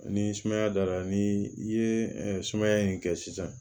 Ni sumaya dara ni i ye sumaya in kɛ sisan